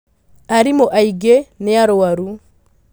Arimũ aingĩnĩarwaru.